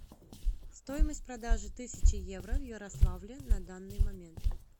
стоимость продажи тысячи евро в ярославле на данный момент